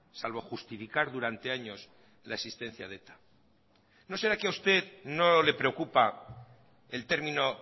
salvo justificar durante años la existencia de eta no será que a usted no le preocupa el término